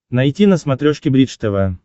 найти на смотрешке бридж тв